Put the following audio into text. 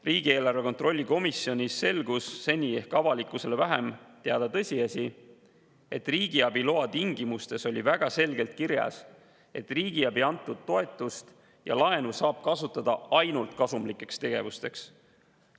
Riigieelarve kontrolli erikomisjonis selgus seni ehk avalikkusele vähem teada tõsiasi, et riigiabi loa tingimustes oli väga selgelt kirjas, et riigiabina antud toetust ja laenu saab kasutada ainult kasumlikeks tegevuseteks.